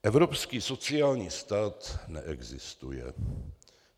Evropský sociální stát neexistuje.